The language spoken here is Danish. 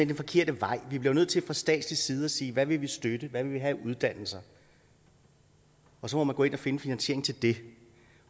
den forkerte vej vi bliver jo nødt til fra statslig side at sige hvad vi vil støtte hvad vi vil have af uddannelser og så må man gå ind og finde finansiering til det